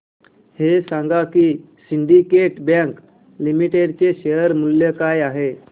हे सांगा की सिंडीकेट बँक लिमिटेड चे शेअर मूल्य काय आहे